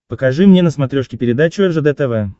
покажи мне на смотрешке передачу ржд тв